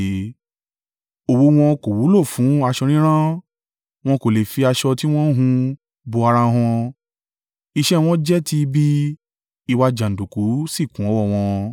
Òwú wọn kò wúlò fún aṣọ rírán; wọn kò lè fi aṣọ tí wọ́n hun bo ara wọn. Iṣẹ́ wọn jẹ́ ti ibi, ìwà jàǹdùkú sì kún ọwọ́ wọn.